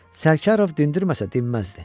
Sərkarov dindirməsə dinməzdi.